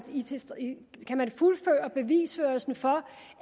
kan fuldføre bevisførelsen for